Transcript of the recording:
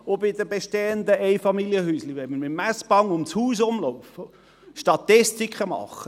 Wollen wir bei den bestehenden Einfamilienhäuschen mit dem Messband um das Haus herumlaufen und Statistiken machen?